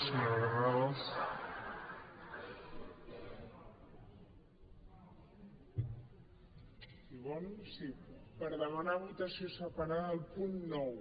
sí per demanar votació separada del punt nou